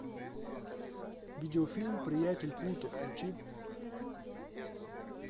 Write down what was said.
видеофильм приятель плуто включи